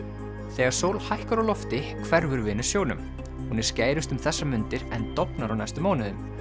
þegar sól hækkar á lofti hverfur Venus sjónum hún er skærust um þessar mundir en dofnar á næstu mánuðum